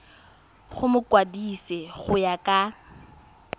go mokwadise go ya ka